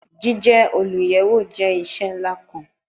Jije oluyẹwo jẹ iṣẹ nla kan